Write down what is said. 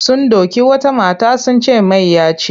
Sun doki wata mata wai sun ce mayya ce.